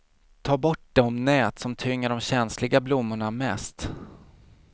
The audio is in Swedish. Ta bort de nät som tynger de känsliga blommorna mest.